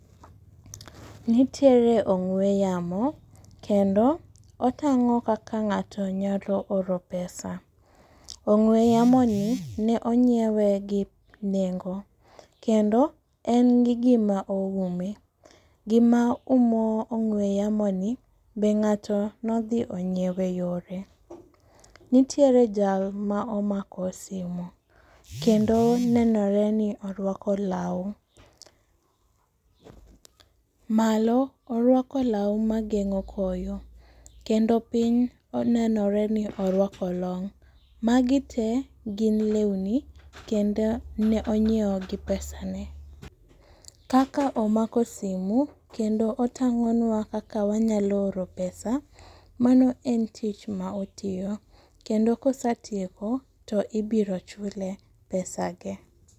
Nitiere ong'we yamo kendo otang'o kaka ng'ato nyalo oro pesa. Ong'we yamo ni ne onyiew gi nengo kendo en gi gima oume. Gima umo ong'we yamo ni be ng'ato nodhi onyiewe yore. Nitiere jal ma omako simu kendo nenore ni orwako law . Malo orwako law mageng'o koyo kendo piny onenore ni orwako long' . Magi tee gin lewni kendo ne onyiewo gi pesa ne . Kaka omako simu kendo otang'o nwa kaka wanyalo oro pesa mano en tich ma otiyo kendo kosatieko to ibiro chule pesa ge.